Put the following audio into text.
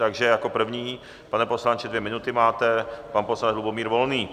Takže jako první, pane poslanče, dvě minuty máte, pan poslanec Lubomír Volný.